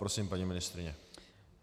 Prosím, paní ministryně.